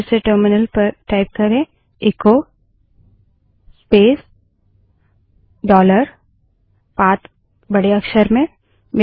फिर से टर्मिनल पर echo space dollar path echo space dollar PATH बड़े अक्षर में टाइप करें